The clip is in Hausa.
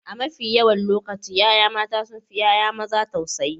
A mafi yawan lokaci ƴaƴa mata sun fi ƴaƴa maza tausayi.